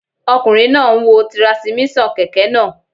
Ọkùnrin náà n wo tirasímíṣàn kẹ̀kẹ́ náà